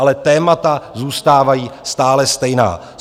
Ale témata zůstávají stále stejná.